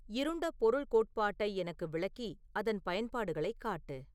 இருண்ட பொருள் கோட்பாட்டை எனக்கு விளக்கி அதன் பயன்பாடுகளைக் காட்டு